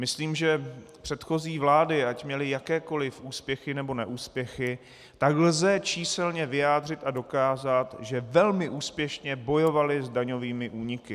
Myslím, že předchozí vlády, ať měly jakékoli úspěchy nebo neúspěchy, tak lze číselně vyjádřit a dokázat, že velmi úspěšně bojovaly s daňovými úniky.